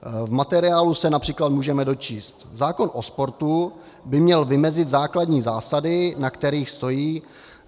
V materiálu se například můžeme dočíst: "Zákon o sportu by měl vymezit základní zásady, na kterých stojí.